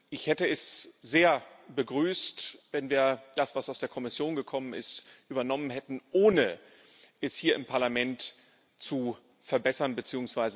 Ich hätte es sehr begrüßt, wenn wir das, was aus der Kommission gekommen ist, übernommen hätten, ohne es hier im Parlament zu verbessern bzw.